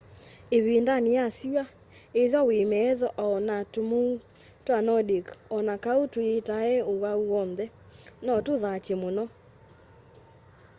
ivindani ya syua ithwa wi metho o na tumuu twa nordic o na kau tuyietae uwau wonthe no tuthatye muno